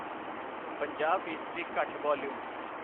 ਪੰਜਾਹ ਫੀਸਦੀ ਘੱਟ ਵਾਲੀਅਮ।